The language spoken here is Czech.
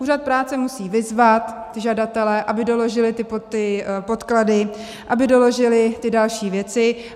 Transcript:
Úřad práce musí vyzvat žadatele, aby doložili ty podklady, aby doložili ty další věci.